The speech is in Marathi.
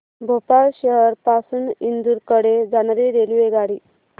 भोपाळ शहर पासून इंदूर कडे जाणारी रेल्वेगाडी